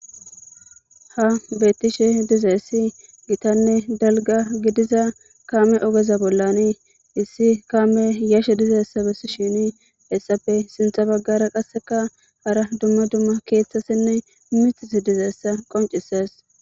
Ha misiliyan ta beyashe dizayisi gitta daligga kameza ogge bollani kameyi yashe dizayisa besishini hepe sinitha baggara hara duma duma kethati dizayisa qibcissesi